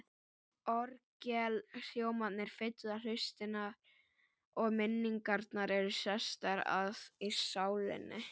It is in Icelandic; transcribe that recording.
Orgelhljómarnir fylla hlustina, og minningarnar eru sestar að í sálinni.